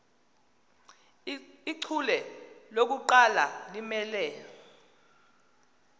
ichule lokuqala limele